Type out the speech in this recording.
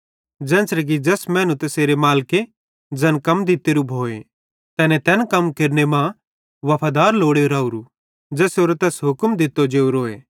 ज़ेन्च़रे कि ज़ैस मैनू तैसेरे मालिके ज़ैन कम दित्तोरे भोए तैने तैन कम केरने मां वफादार लोड़े रावरू ज़ेसेरो तैस हुक्म दित्तो जेवरोए